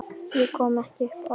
Ég kom ekki upp orði.